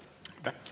Aitäh!